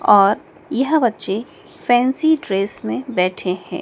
और यह बच्चे फैंसी ड्रेस में बैठे हैं।